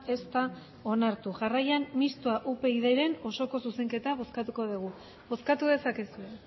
ez da onartu jarraian mistoa upydren osoko zuzenketa bozkatuko dugu bozkatu dezakezue